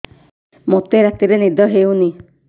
ମୋତେ ରାତିରେ ନିଦ ହେଉନି